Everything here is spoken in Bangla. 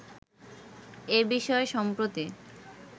এ বিষয়ে সম্প্রতি